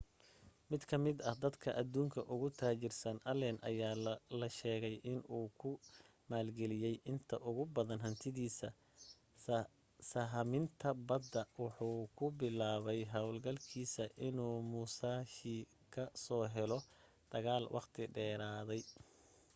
mid ka mid ah dadka adduunka ugu taajirsan, allen aya la sheegay inuu ku maalgeliyey inta ugu badan hantidiisa sahaminta badda wuxuuna ku bilaabay hawlgalkiisa inuu musashi ka soo helo dagaal waqti dheeraaday